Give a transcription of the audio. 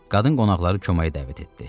Qadın qonaqları köməyə dəvət etdi.